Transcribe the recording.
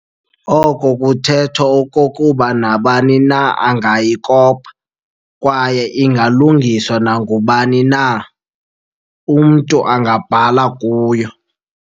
Oko kuthetha okokuba nabani na angayikopa, kwaye ingalungiswa nangubani na, umntu angabhala kuyo.